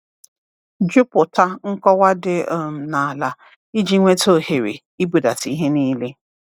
Jupụta nkọwa dị um n’ala iji nweta ohere ịbudata ihe niile!